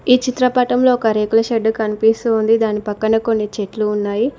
ఈ చిత్రపటంలో ఒక రేకుల షెడ్డు కనిపిస్తుంది దాని పక్కన కొన్ని చెట్లు ఉన్నాయి.